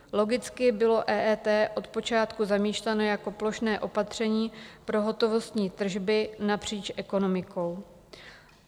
Logicky bylo EET od počátku zamýšleno jako plošné opatření pro hotovostní tržby napříč ekonomikou.